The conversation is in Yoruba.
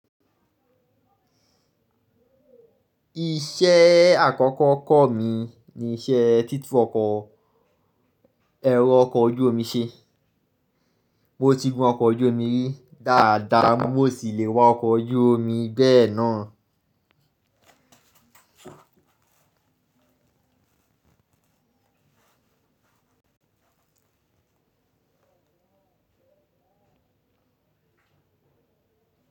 Iṣẹ́ àkọ́kọ́ kọ́ mi ni iṣẹ́ títú ọkọ̀, ẹ̀rọ ọkọ̀ ojú omi ṣe. Mo ti gún ọkọ̀ ojú omi rí dáadáa, mo sì le wa ọkọ̀ ojú omi bẹ́ẹ̀ náà.